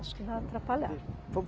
Acho que vai atrapalhar.